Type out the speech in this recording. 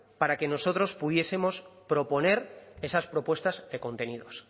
para que nosotros pudiesemos proponer esas propuestas de contenidos